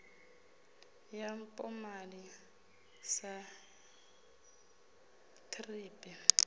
ya mpomali sa thrip i